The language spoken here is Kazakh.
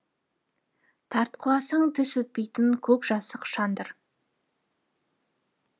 тартқыласаң тіс өтпейтін көкжасық шандыр